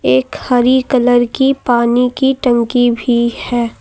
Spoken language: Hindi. एक हरी कलर की पानी की टंकी भी है।